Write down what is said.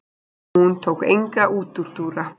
Hún tók enga útúrdúra.